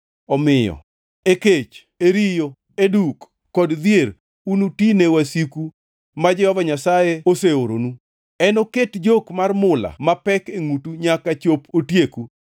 omiyo e kech, e riyo, e duk, kod dhier unutine wasiku ma Jehova Nyasaye oseoronu. Enoket jok mar mula mapek e ngʼutu nyaka chop otieku.